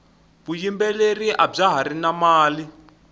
vuyimbeleri abya hari na mali